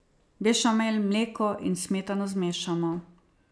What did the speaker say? Bešamel, mleko in smetano zmešamo.